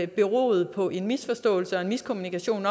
beroede på en misforståelse og en miskommunikation